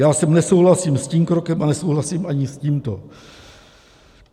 Já jsem nesouhlasil s tím krokem a nesouhlasím ani s tímto.